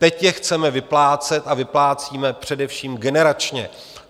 Teď je chceme vyplácet a vyplácíme především generačně.